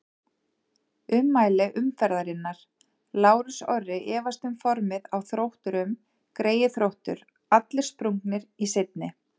Ummæli umferðarinnar: Lárus Orri efast um formið á Þrótturum Greyið Þróttur, allir sprungnir í seinni.